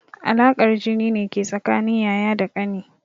Alaƙar jini ne ke tsakanin yaya da ƙani.